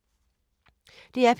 DR P3